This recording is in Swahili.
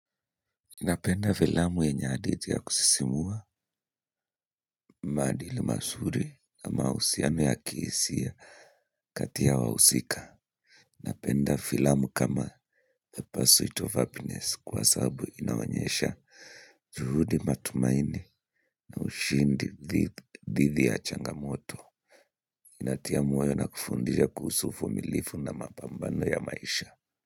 Napenda filamu yenye hadithi ya kusisimua, maadili masuri na mahusiano ya kisihia ya kati ya wahusika. Napenda filamu kama The First Suite of Happiness kwa sababu inawanyesha juhudi matumaini na ushindi dhu didhi ya changamoto. Inatia mwayo na kufundija kuhusu uvumilifu na mapambano ya maisha.